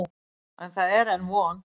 En það er enn von.